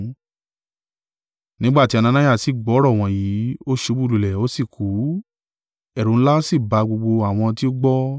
Nígbà tí Anania sí gbọ́ ọ̀rọ̀ wọ̀nyí, ó ṣubú lulẹ̀, ó sì kú, ẹ̀rù ńlá sí ba gbogbo àwọn tí ó gbọ́.